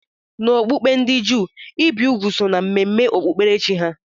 N'okpukpe ndị Juu, ibi úgwù so na mmemme okpukperechi ha